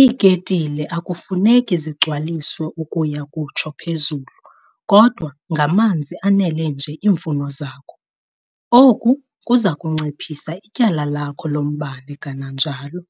Iiketile akufuneki zigcwaliswe ukuya kutsho phezulu kodwa ngamanzi anele nje iimfuno zakho. Oku kuza kunciphisa ityala lakho lombane kananjalo.